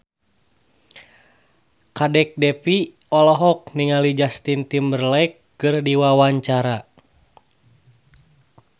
Kadek Devi olohok ningali Justin Timberlake keur diwawancara